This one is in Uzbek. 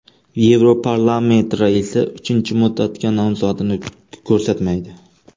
Yevroparlament raisi uchinchi muddatga nomzodini ko‘rsatmaydi.